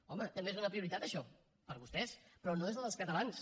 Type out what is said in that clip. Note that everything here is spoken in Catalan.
home també és una prioritat això per vostès però no és la dels catalans